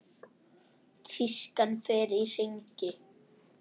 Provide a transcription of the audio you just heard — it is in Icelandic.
Tískan fer í hringi.